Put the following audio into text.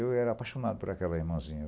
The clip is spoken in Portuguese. Eu era apaixonado por aquela irmãzinha.